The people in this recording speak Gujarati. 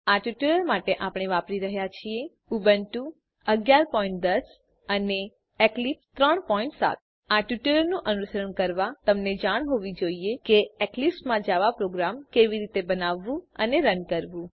આ ટ્યુટોરીયલ માટે આપણે વાપરી રહ્યા છીએ ઉબુન્ટુ 1110 અને એક્લીપ્સ 37 આ ટ્યુટોરીયલનું અનુસરણ કરવાં તમને જાણ હોવી જોઈએ કે એક્લીપ્સ માં જાવા પ્રોગ્રામ કેવી રીતે બનાવવું અને રન કરવું